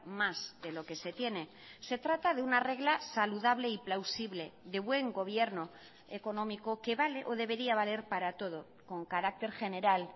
más de lo que se tiene se trata de una regla saludable y plausible de buen gobierno económico que vale o debería valer para todo con carácter general